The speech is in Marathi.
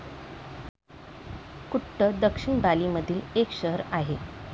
कुट्ट दक्षिण बाली मधील एक शहर आहे.